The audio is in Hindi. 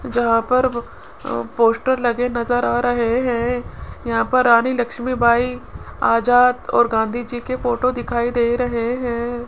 जहां पर अह पोस्टर लगे नजर आ रहे हैं यहां पर रानी लक्ष्मीबाई आजाद और गांधी जी के फोटो दिखाई दे रहे हैं।